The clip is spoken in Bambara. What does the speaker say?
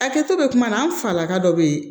A kɛtɔ bɛ kuma na an falaka dɔ bɛ ye